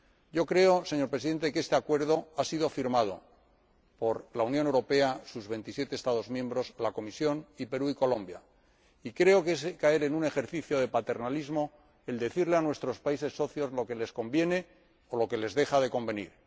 Yo creo, señor Presidente, que este Acuerdo ha sido firmado por la Unión Europea, sus 27 Estados miembros, la Comisión y Perú y Colombia, y creo que es caer en un ejercicio de paternalismo decirles a nuestros países socios lo que les conviene o lo que les deja de convenir.